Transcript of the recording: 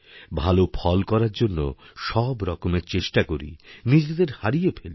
ভাল ফল করারজন্য সবরকমের চেষ্টা করি নিজেদের হারিয়ে ফেলি